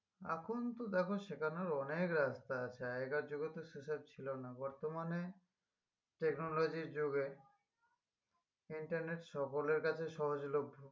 এখন তো দেখো শেখানোর অনেক রাস্তা আছে আগেরকার যুগে তো সেসব ছিল না বর্তমানে technology এর যুগে intermet সকলের কাছে সহজলভ্য